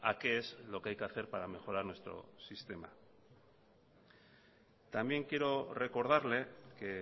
qué es lo que hay que hacer para mejorar nuestro sistema también quiero recordarle que